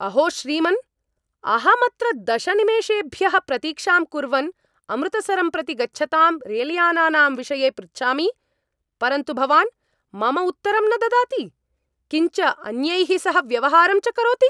अहो श्रीमन् अहं अत्र दश निमेषेभ्यः प्रतीक्षां कुर्वन् अमृतसरं प्रति गच्छतां रेलयानानां विषये पृच्छामि, परन्तु भवान् मम उत्तरं न ददाति, किञ्च अन्यैः सह व्यवहारं च करोति।